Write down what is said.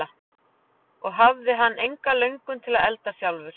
Og hann hafði enga löngun til að elda sjálfur.